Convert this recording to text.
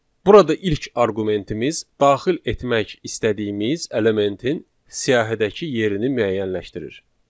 Burada ilk arqumentimiz daxil etmək istədiyimiz elementin siyahıdakı yerini müəyyənləşdirir.